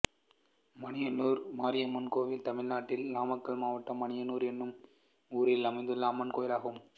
மணியனூர் மாரியம்மன் கோயில் தமிழ்நாட்டில் நாமக்கல் மாவட்டம் மணியனூர் என்னும் ஊரில் அமைந்துள்ள அம்மன் கோயிலாகும்